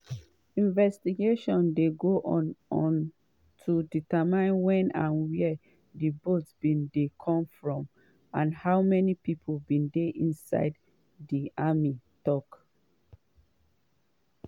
investigations dey go on to determine wen and wia di boat bin dey come from and how many pipo bin dey inside di army tok.